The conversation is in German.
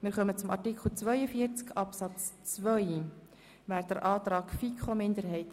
Wir kommen zum Antrag der FiKo-Minderheit von Grossrat Haas zu Artikel 42 Absatz 2.